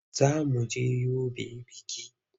Za mu je Yobe biki.